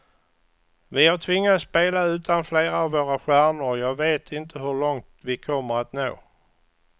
Vi har tvingats spela utan flera av våra stjärnor och jag vet inte hur långt vi kommer att nå.